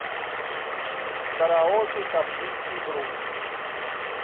караоке каспийский груз